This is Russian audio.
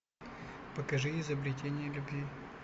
покажи изобретение любви